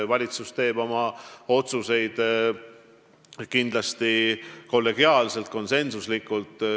Valitsus teeb oma otsuseid kindlasti kollegiaalselt ja konsensuslikult.